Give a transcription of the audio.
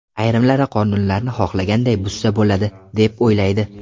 Ayrimlari qonunlarni xohlaganday buzsa bo‘ladi deb, o‘ylaydi.